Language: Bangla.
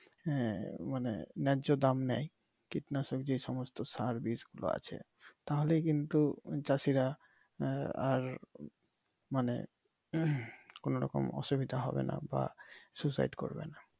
হ্যাঁ মানে ন্যায্য দাম নেয় কীটনাশক বা যে সমস্ত সার্ভিস আছে তাহলে কিন্তু চাষিরা আহ আর মানে কোন রকম অসুবিধা হবে নাহ বা suicide করবেনা ।